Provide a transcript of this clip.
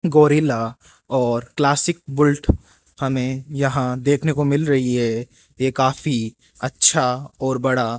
gorilla और Classic Bullet हमें यहां देखने को मिल रही है ये काफी अच्छा और बड़ा --